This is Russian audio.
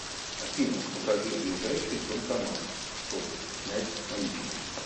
афина покажи ближайший банкомат чтобы снять наличные